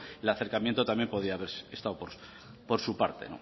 el acercamiento también podía haber estado por su parte